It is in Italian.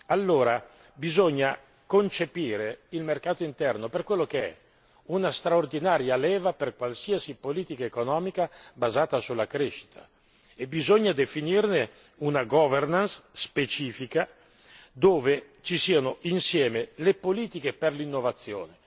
Allora bisogna concepire il mercato interno per quello che è, vale a dire una straordinaria leva per qualsiasi politica economica basata sulla crescita, e bisogna definirne una governance specifica dove ci siano insieme le politiche per l'innovazione.